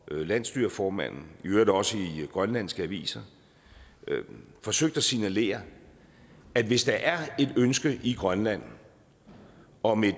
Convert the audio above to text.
landsstyreformanden og i øvrigt også i grønlandske aviser forsøgt at signalere at hvis der er et ønske i grønland om et